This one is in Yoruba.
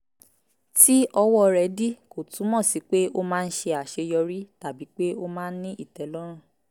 tí ọwọ́ rẹ̀ dí kò túmọ̀ sí pé ó máa ń ṣe àṣeyọrí tàbí pé ó máa ń ní ìtẹ́lọ́rùn